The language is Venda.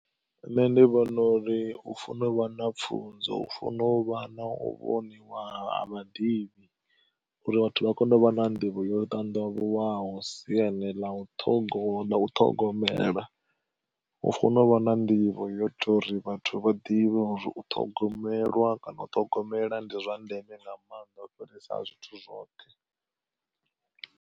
Nṋe ndi vhona uri u funa uvha na pfunzo u funa uvha na u vhoniwa ha vhaḓivhi, uri vhathu vha kone u vha na nḓivho yo ṱandavhuwaho siani ḽa u ṱhogo, ḽa u u ṱhogomela hu fanela u vha na nḓivho ya uri vhathu vha ḓivhe uri u ṱhogomelwa kana u ṱhogomela ndi zwa ndeme nga maanḓa u fhirisa zwithu zwoṱhe.